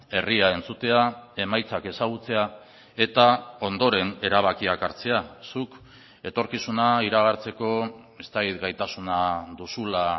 herria entzutea emaitzak ezagutzea eta ondoren erabakiak hartzea zuk etorkizuna iragartzeko ez dakit gaitasuna duzula